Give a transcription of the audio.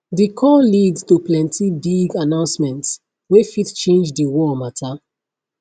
di call lead to plenty big announcements wey fit change di war mata